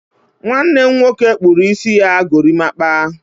nwanne m nwoke kpụrụ isi ya gorimapa